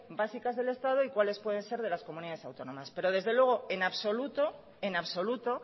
básicas del estado y cuáles pueden ser de las comunidades autónomas pero desde luego en absoluto en absoluto